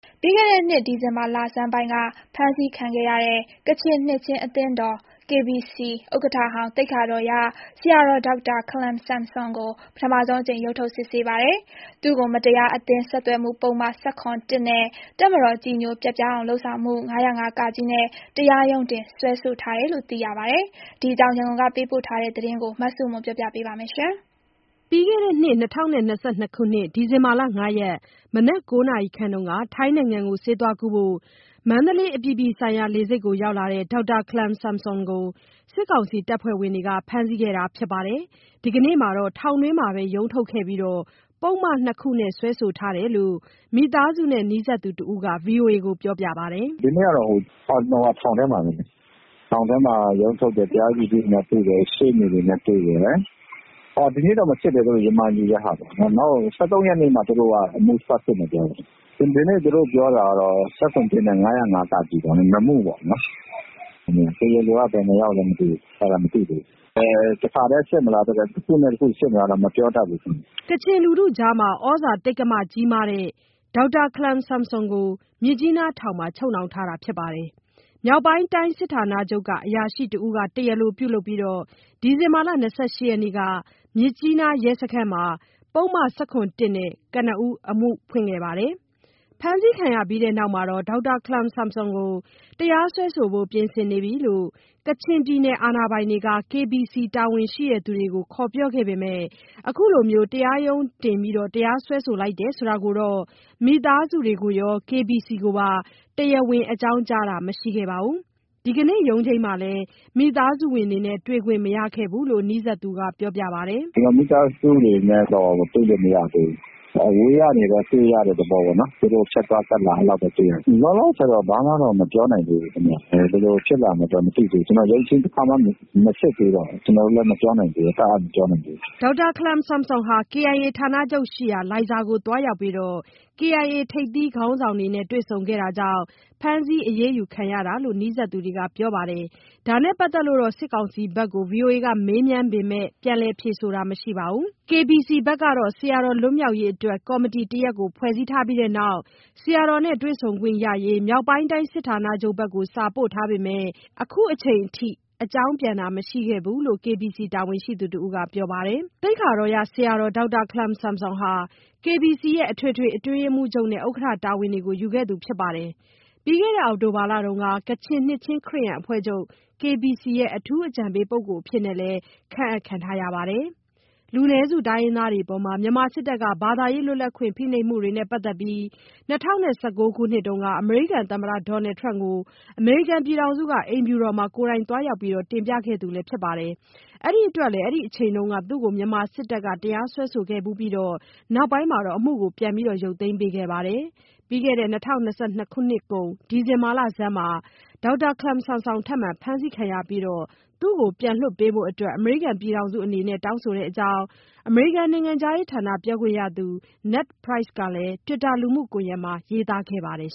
ပြီးခဲ့တဲ့နှစ် ဒီဇင်ဘာလဆန်းပိုင်းက ဖမ်းဆီးခံရတဲ့ ကချင်နှစ်ခြင်းအသင်းတော် ဥက္ကဋ္ဌဟောင်း သိက္ခာတော်ရ ဆရာတော် ဒေါက်တာခလမ်ဆမ်ဆွန်ကို ပထမဆုံးအကြိမ် ရုံးထုတ်စစ်ဆေးပါတယ်။ သူ့ကို မတရားအသင်းဆက်သွယ်မှုပုဒ်မ ၁၇ ၊ နဲ့ တပ်မတော်ကြည်ညိုပျက်ပြားအောင်လုပ်ဆောင်မှု ၅၀၅-က နဲ့ တရားရုံးတင်စွဲဆိုထားတယ်လို့သိရပါတယ်။ ဒီအကြောင်း ရန်ကုန်ကပေးပို့တဲ့သတင်း မဆုမွန်က ပြောပြပါမယ်။ ဒီဇင်ဘာ ၅ ရက် မနက် ၉ နာရီခန့်က ထိုင်းနိုင်ငံကို ဆေးသွားကုဖို့ မန္တလေး အပြည်ပြည်ဆိုင်ရာ လေဆိပ်မှာ၊ ဒေါက်တာခလမ်ဆမ်ဆွမ်ကို စစ်ကောင်စီ တပ်ဖွဲ့ဝင်တွေက ဖမ်းဆီးခဲ့တာပါ။ ဒီနေ့မှာတော့ ထောင်တွင်းမှာပဲ ရုံးထုတ်ခဲ့ပြီး၊ ပုဒ်မနှစ်ခုနဲ့ စွဲဆိုထားတယ်လို့ မိသားစုနဲ့နီးစပ်သူတဦးက ဗွီအိုအေကို ပြောပါတယ်။ "ဒီနေ့ကတော့ ထောင်ထဲမှာပဲ ထောင်ထဲမှာရုံးထုတ်တယ်။ တရားသူကြီးနဲ့တွေ့တယ်။ ရှေ့နေတွေနဲ့ တွေ့တယ်။ ဒီနေ့တော့မစစ်ဘူး ရမန်ယူတာပေါ့၊ နောက် ၁၃ရက်နေ့ကိုပြန်ချိန်းထားတယ်။ အဲနေ့မှ အမှုစစစ်မယ်ပြောတယ်။ ဒီနေ့ပြောတာက ၁၇/၁ ရယ် ၅၀၅-က ရယ် ၂မှုပေါ့နော်။ တရားလိုက ဘယ်နှယောက်လဲတော့မသိဘူး အဲဒါမသိသေးဘူး။ တခါထဲစစ်မလား တခုနဲ့ တခုစစ်မလားတော့ ခုမပြောတတ်သေးဘူး။" ကချင်လူထုအကြား ဩဇာတိက္ကမကြီးမားတဲ့ ဒေါက်တာခလမ်ဆွမ်ဆွန်ကို မြစ်ကြီးနားထောင်မှာ ချုပ်နှောင်ထားတာပါ။ မြောက်ပိုင်းတိုင်းစစ်ဌာနချုပ်က အရာရှိတဦးက တရားလိုပြုလုပ်ပြီး ဒီဇင်ဘာ ၂၈ ရက်နေ့က မြစ်ကြီးနားရဲစခန်းမှာ ပုဒ်မ ၁၇ နဲ့ ကနဦး အမှုဖွင့်ခဲ့ပါတယ်။ ဖမ်းဆီးခံရပြီးနောက် ဒေါက်တာခလမ်ဆမ်ဆွမ်ကို တရားစွဲဆိုဖို့ ပြင်ဆင်နေပြီလို့ ကချင်ပြည်နယ်အာဏာပိုင်တွေက KBC တာဝန်ရှိသူတွေကို ခေါ်ပြောခဲ့ပေမယ့် အခုလို တရားရုံးတင် စွဲဆိုလိုက်တယ်ဆိုတာကိုတော့ မိသားစုတွေကိုရော KBC ကိုပါ တရားဝင် အကြောင်းကြားတာမရှိခဲ့တာမရှိခဲ့ပါဘူး။ ဒီကနေ့ရုံးချိန်းမှာလဲမိသားစုဝင်တွေနဲ့ တွေ့ခွင့်မရခဲ့ပါဘူး လို့နီးစပ်သူကပြောပါတယ်။ "မိသားစုတွေနဲ့တွေ့ခွင့်မရသေးဘူး။ အဝေးကနေတော့တွေ့ရတယ်။ ဖြတ်သွားဖြတ်လာ အဲလိုတော့ တွေ့လိုက်ရတယ်။ လောလောဆယ်တော့ ဘာမှတော့မပြောနိုင်သေးဘူး။ ဘယ်လိုဖြစ်လာမလဲ မသိသေးဘူး။ ရုံးချိန်းတခါမှမစစ်သေးတော့လေ။ ကျနော်တို့တပ်အပ်မပြောနိုင်သေးဘူးပေါ့" ဒေါက်တာခလမ်ဆမ်ဆွန်ဟာ KIA ဌာနချုပ်ရှိရာ လိုင်ဇာသို့သွားရောက်ပြီး KIA ထိပ်သီး ခေါင်းဆောင်တွေနဲ့ တွေ့ဆုံခဲ့တာကြောင့် ဖမ်းဆီးအရေးယူခံရတာလို့ နီးစပ်သူတွေက ပြောပါတယ်။ ဒါနဲ့ပတ်သက်လို့တော့ စစ်ကောင်စီဘက်ကို မေးမြန်းပေမယ့် ပြန်လည်ဖြေဆိုတာတော့ မရှိပါဘူး။ KBC ဘက်ကတော့ ဆရာတော်လွတ်မြောက်ရေးအတွက် ကော်မတီတရပ်ဖွဲ့ပြီးနောက်၊ ဆရာတော်နဲ့တွေ့ခွင့်ရရေး မြောက်ပိုင်းတိုင်းစစ်ဌာနချုပ်ဘက်ကို စာပို့ထားပေမယ့် ခုချိန်ထိ အကြောင်းပြန်တာမရှိခဲ့ဘူးလို့ KBC တာဝန်ရှိသူတဦးက ပြောပါတယ်။ သိက္ခာတော်ရဆရာ ဒေါက်တာ ခလမ်ဆမ်ဆွမ် ဟာ KBC ရဲ့ အထွေထွေအတွင်းရေးမှုးချုပ်နဲ့ ဥက္ကဋ္ဌ တာဝန်တွေကို ယူခဲ့သူဖြစ်ပြီး ပြီးခဲ့တဲ့ အောက်တိုဘာလက ကချင်နှစ်ခြင်း ခရစ်ယာန်အဖွဲ့ချုပ် "KBC ရဲ့ အထူးအကြံပေးပုဂ္ဂိုလ်" အဖြစ် ခန့်အပ်ခံရပါတယ်။ လူနည်းစုတိုင်းရင်းသားတွေအပေါ် မြန်မာစစ်တပ်က ဘာသာရေး လွတ်လပ်ခွင့် ဖိနှိပ်မှုနဲ့ ပတ်သက်ပြီး ၂၀၁၉ ခုနှစ်က အမေရိကန်သမ္မတ ဒေါ်နယ်ထရမ့်ကို အမေရိကန်ပြည်ထောင်စုအိမ်ဖြူတော်မှာ ကိုယ်တိုင်သွားရောက် တင်ပြခဲ့သူလည်းဖြစ်ပါတယ်။ အဲဒါအတွက်လည်း အဲဒီအချိန်တုန်းက သူ့ကို မြန်မာစစ်တပ်က တရားစွဲဆိုခဲ့ဖူးပြီး နောက်ပိုင်း အမှုရုတ်သိမ်းပေးခဲ့ပါတယ်။ ပြီးခဲ့တဲ့နှစ်ကုန် ဒီဇင်ဘာလဆန်းမှာ ထပ်မံဖမ်းခံရပြီးနောက် ဒေါက်တာခလမ်ဆွမ်ဆွန်ကို ပြန်လွှတ်ပေးဖို့ အမေရိကန်ပြည်ထောင်စုအနေနဲ့ တောင်းဆိုတဲ့အကြောင်း အမေရိကန်နိုင်ငံခြားရေးဌာန ပြောခွင့်ရသူ နက်ဒ်ပရိုက်စ် ကလည်း တွစ်တာလူမှုကွန်ယက်မှာ ရေးသားခဲ့ပါတယ်